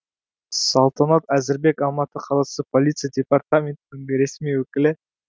салтанат әзірбек алматы қаласы полиция департаментінің ресми өкілі